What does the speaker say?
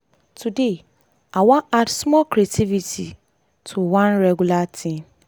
today i wan add small creativity to one regular thing.